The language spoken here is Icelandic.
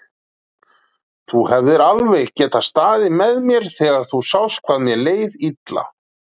Þú hefðir alveg getað staðið með mér þegar þú sást hvað mér leið illa.